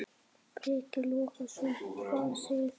Breki Logason: Hvað segir þú?